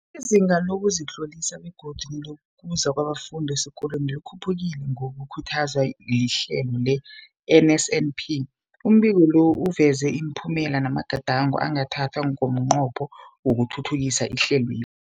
Izinga lokuzitlolisa begodu nelokuza kwabafundi esikolweni likhuphukile ngokukhuthazwa lihlelo le-NSNP. Umbiko lo uveza ipumelelo namagadango angathathwa ngomnqopho wokuthuthukisa ihlelweli.